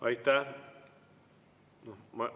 Aitäh!